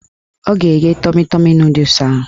Ọ ga-egge tọmi tọmi nọdụs ahụ